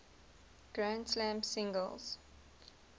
grand slam singles